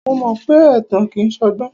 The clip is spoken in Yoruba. Mo mọ pé ẹ̀tàn kìí ṣọgbọ́n.